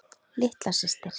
Litla systir.